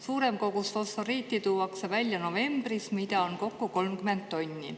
Suurem kogus fosforiiti tuuakse välja novembris, seda on kokku 30 tonni.